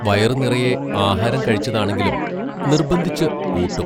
വയറു നിറയെ ആഹാരം കഴിച്ചതാണെങ്കിലും നിർബന്ധിച്ച് ഊട്ടും.